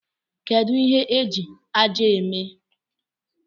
Kedụ ihe eji ájá a eme?